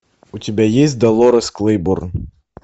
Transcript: у тебя есть долорес клейборн